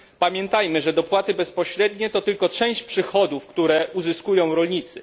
Pamiętajmy, że dopłaty bezpośrednie to tylko część przychodów, które uzyskują rolnicy.